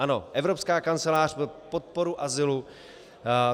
Ano, Evropská kancelář pro podporu azylu.